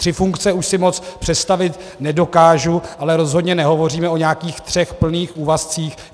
Tři funkce si už moc představit nedokážu, ale rozhodně nehovoříme o nějakých třech plných úvazcích.